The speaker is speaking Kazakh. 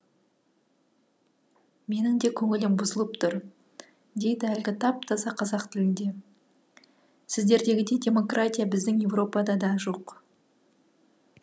менің де көңілім бұзылып тұр дейді әлгі тап таза қазақ тілінде сіздердегідей демократия біздің еуропада да жоқ